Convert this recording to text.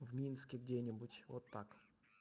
в минске где-нибудь вот так